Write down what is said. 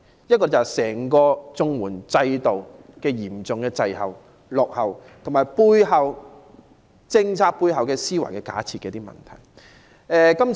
一，是整個綜援制度嚴重滯後、落後，其次是政策背後在思維上的一些假設。